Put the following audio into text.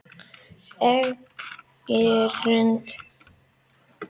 Espigrund